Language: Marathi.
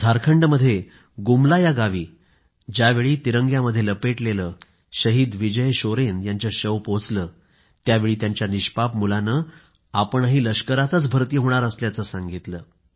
झारखंडमध्ये गुमला या गावी ज्यावेळी तिरंग्यामध्ये लपेटलेले शहीद विजय शोरेन यांचे पार्थिव पोचले त्यावेळी त्यांच्या निष्पाप मुलाने आपणही लष्करातच भर्ती होणार असल्याचं सांगितलं